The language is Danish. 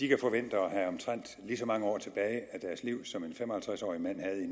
kan forvente at have omtrent lige så mange år tilbage af deres liv som en fem og halvtreds årig mand